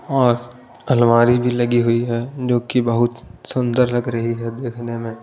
और अलमारी भी लगी हुई हैं जो कि बहुत सुंदर लग रही है देखने में--